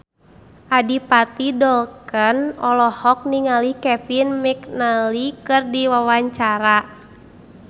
Adipati Dolken olohok ningali Kevin McNally keur diwawancara